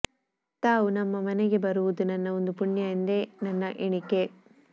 ತಾವು ನಮ್ಮ ಮನೆಗೆ ಬರುವುದು ನನ್ನ ಒಂದು ಪುಣ್ಯ ಎಂದೇ ನನ್ನ ಎಣಿಕೆ